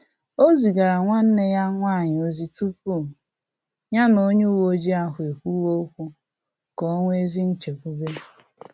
Ọ zigara nwanne ya nwanyị ozi tupu ya na onye uweojii ahụ ekwuwe okwu, ka o nwee ezi nchekwube